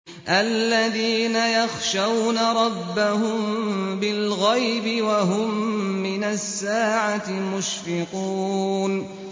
الَّذِينَ يَخْشَوْنَ رَبَّهُم بِالْغَيْبِ وَهُم مِّنَ السَّاعَةِ مُشْفِقُونَ